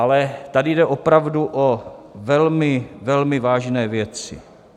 Ale tady jde opravdu o velmi, velmi vážné věci.